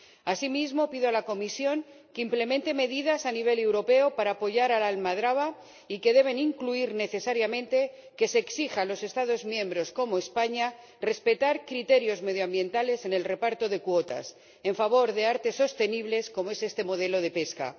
Asimismo, pido a la Comisión que implemente medidas a nivel europeo para apoyar a la almadraba, medidas que deben incluir necesariamente que se exija a los Estados miembros, como España, que respeten criterios medioambientales en el reparto de cuotas en favor de artes sostenibles como es este modelo de pesca.